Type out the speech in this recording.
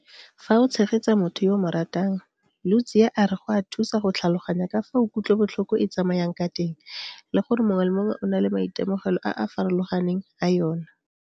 Fa o tshegetsa motho yo o mo ratang, Ludziya a re go a thusa go tlhaloganya ka fao kutlobotlhoko e tsamayang ka teng le gore mongwe le mongwe o na le maitemogelo a a farologaneng a yona.